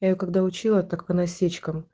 я её когда учила так по насечкам